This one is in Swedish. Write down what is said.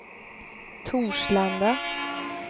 Torslanda